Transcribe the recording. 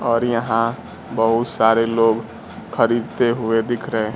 और यहां बहुत सारे लोग खरीदते हुए दिख रहे।